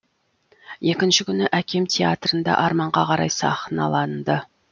екінші күні әкем театрында арманға қарай сахналанды